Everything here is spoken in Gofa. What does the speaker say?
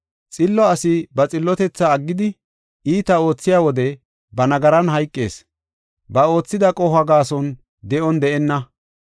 Xillo asi ba xillotethaa aggidi, iita oothiya wode ba nagaran hayqees; ba oothida qohuwa gaason de7on de7ena.